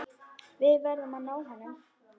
Við verðum að ná honum.